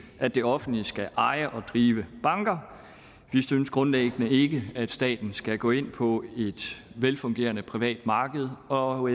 at det offentlige skal eje og drive banker vi synes grundlæggende ikke at staten skal gå ind på et velfungerende privat marked og